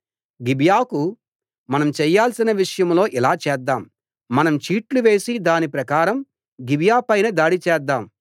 గిబియాకు మనం చేయాల్సిన విషయంలో ఇలా చేద్దాం మనం చీట్లు వేసి దాని ప్రకారం గిబియా పైన దాడి చేద్దాం